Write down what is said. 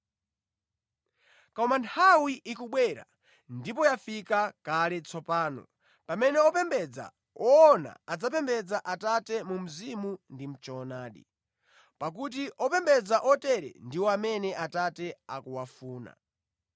Koma nthawi ikubwera ndipo yafika kale tsopano pamene opembedza woona adzapembedza Atate mu mzimu ndi mʼchoonadi, pakuti opembedza otere ndiwo amene Atate akuwafuna.